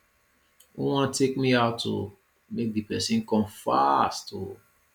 who wan take me out oo make the person come fast oo